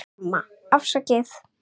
Arma: Afsakið